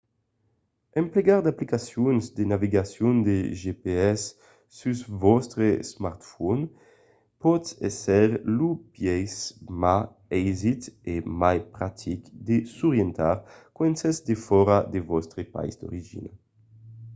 emplegar d’aplicacions de navegacion de gps sus vòstre smartphone pòt èsser lo biais ma aisit e mai practic de s’orientar quand sètz defòra de vòstre país d’origina